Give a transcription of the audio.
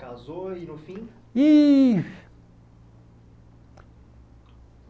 Casou e no fim? E